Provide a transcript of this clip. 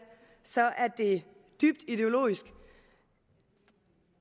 er det dybt ideologisk